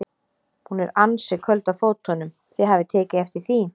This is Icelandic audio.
Hún er ansi köld á fótunum, þið hafið tekið eftir því?